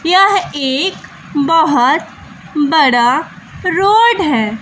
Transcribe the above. यह एक बहोत बड़ा रोड हैं।